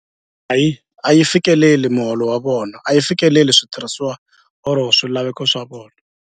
A yi a yi fikeleli muholo wa vona a yi fikeleli switirhisiwa or swilaveko swa vona.